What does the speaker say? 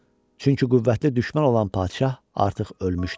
Çünki qüvvətdə düşmən olan padşah artıq ölmüşdü.